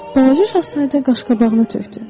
Balaca şahzadə qaş-qabağını tökdü.